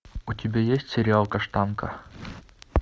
у тебя есть сериал каштанка